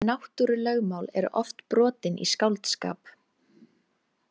Náttúrulögmál eru oft brotin í skáldskap.